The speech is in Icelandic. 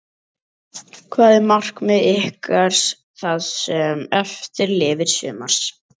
Hver eru markmið ykkar það sem eftir lifir sumars?